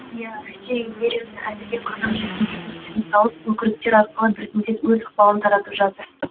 иә россия империясы әзірге қазақ жеріне бекіністерін салып өкіріктер арқылы біртіндеп өз ықпалын таратып жатыр